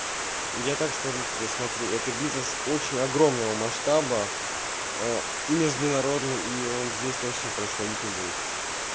я так скажу тебе смотри это бизнес очень огромного масштаба а международный и он здесь точно происходить не будет